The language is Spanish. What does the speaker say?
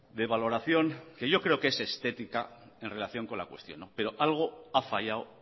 de valoración que yo creo que es estética en relación con la cuestión pero algo ha fallado